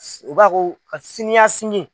u b'a ko siniyasigi.